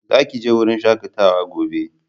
Za ki je wurin shakatawa gobe!